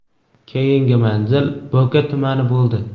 Keyingi manzil Bo‘ka tumani bo‘ldi.